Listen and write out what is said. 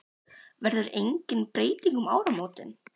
Sölvi Tryggvason: Verður engin breyting um áramótin?